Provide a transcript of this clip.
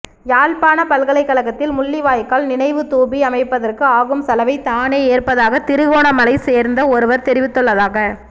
யாழ்ப்பாண பல்கலைக்கழகத்தில் முள்ளிவாய்க்கால் நினைவுத்தூபி அமைப்பதற்கு ஆகும் செலவை தானே ஏற்பதாக திருகோணமலையை சேர்ந்த ஒருவர் தெரிவித்துள்ளதாக